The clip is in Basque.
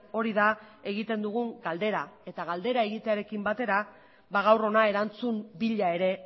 hori da egiten dugun galdera eta galdera egitearekin batera gaur hona erantzun bila ere